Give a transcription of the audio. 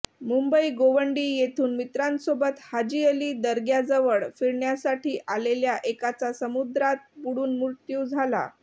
मुंबई गोवंडी येथून मित्रांसोबत हाजी अली दर्ग्याजवळ फिरण्यासाठी आलेल्या एकाचा समुद्रात बुडून मृत्यू झाला